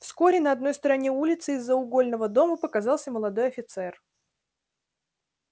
вскоре на одной стороне улицы из-за угольного дома показался молодой офицер